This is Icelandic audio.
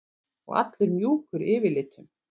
Og allur mjúkur yfirlitum.